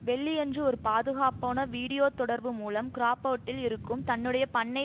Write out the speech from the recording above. வெள்ளியன்று ஒரு பாதுகாப்பான வீடியோத் தொடர்பு மூலம் கிராபோர்டில் இருக்கும் தன்னுடைய பண்ணை